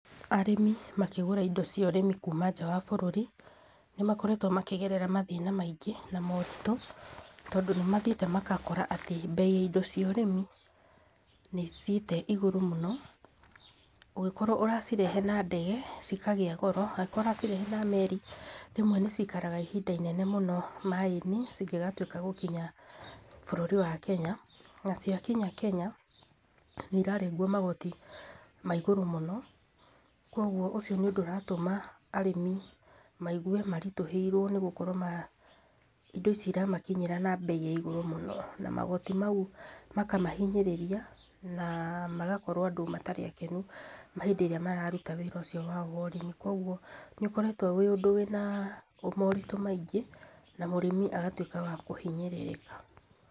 Arĩmi makĩgũra indo cia ũrĩmi kuma nja wa bũrũri nĩmakoretwo makĩgerera mathĩna maingĩ na moritũ. Tondũ nĩ mathiĩte magakora atĩ mbei ya indo cia ũrĩmi nĩ ĩthi~ite igũrũ mũno. Ungĩkorwo ũracirehe na ndege ci kagĩa goro angĩkorwo ũracirehe na meri rĩmwe nĩ cikaraga ihinda inene mũno maaĩ~inĩ cingĩgatuĩka gũkinya bũrũri wa Kenya. Na cia kinya kenya nĩ irarengwo magoti maigũrũ mũno, kwogwo ũcio ni ũndũ ũratũma arĩmi maigwe maritũhĩrwo nĩ gũkorwo indo ici iramakinyĩra na mbei ya igũrũ mũno, na magoti mau makamahinyĩrĩria na magokorwo andũ matarĩ akenu hĩndĩ ĩrĩa mararuta wĩra ũcio wao wa ũrĩmi. Kogwo nĩ ũkoretwo wĩ ũndũ wĩna moritũ maingĩ na mũrĩmi agatuĩka wa kũhinyĩrĩrĩka.